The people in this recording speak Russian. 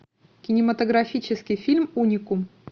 кинематографический фильм уникум